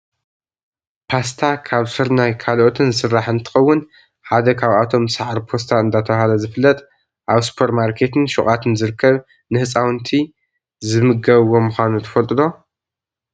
ፓስታ ካብ ስርናይ ካልኦትን ዝስራሕ እንትከውን ፣ ሓደ ካብኣቶም ሳዕሪ ፖስታ እንዳተባሃለ ዝፍለጥ ኣብ ሱፐርማርኬትን ሹቃትን ዝርከብ ንህፃውንቲ ዝምገብዎ ምኳኑ ትፈልጡ ዶ?